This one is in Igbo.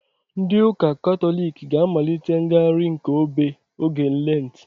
Ndị ụka katọlik ga-amalite ngagharị nke obe oge lentị